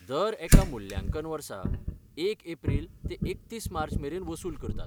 दर एका मुल्यांकन वर्सा एक एप्रील ते एकतीस मार्च मेरेन वसूल करतात.